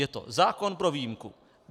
Je to zákon pro výjimku.